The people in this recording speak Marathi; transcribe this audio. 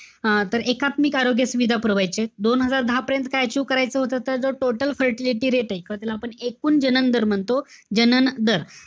अं तर एकात्मिक आरोग्य सुविधा पुरावायचीय. दोन हजार दहा पर्यंत काय achieve करायचं होतं? तर total fertility rate ए, त्याला आपण एकूण जनन दर म्हणतो. जनन दर.